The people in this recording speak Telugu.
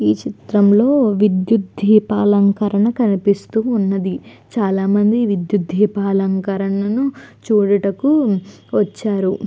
ఈ చిత్రంలో విద్యుత్ ధీపాలంకరణ కనిపిస్తూ ఉన్నది చాలామంది విద్యుత్ ధీపాలంకరణను చూడటకు వచ్చారు.